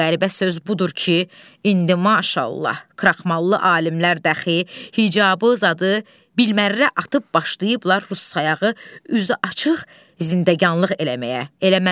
Qəribə söz budur ki, indi maşallah, kraxmallı alimlər də axı hicabı, zadı bilmərərə atıb başlayıblar rus sayağı üzü açıq zindəganlıq eləməyə.